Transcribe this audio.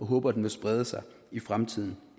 håber at den vil sprede sig i fremtiden